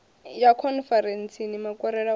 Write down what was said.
ya khonferentsini makwarela u ya